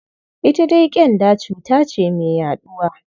Ita dai ƙyanda cuta ce mai yaɗuwa.